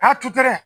tutɛrɛ